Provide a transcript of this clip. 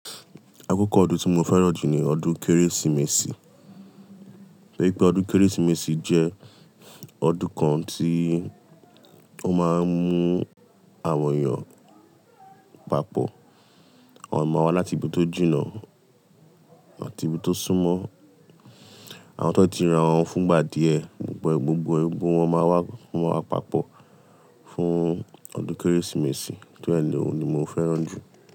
Akókò ọdún tí mo fẹ́ràn jù ní ọdún Kérésìmesì, tori pé ọdún Kérésìmesì jẹ́ ọdún kan tí ó máa ń mú àwọn èèyàn papọ̀. Àwọn eyan ma wa láti ibi tó jìnà àti ibi tó súnmọ́, àwọn ti won ti ri rawọn fún ìgbà díẹ̀, gbogbo gbogbo e, gbogbo wọn máa wá fún wa papọ̀ fún ọdún Kérésìmesì, tóri e ni òun ni mo fẹ́ràn jù.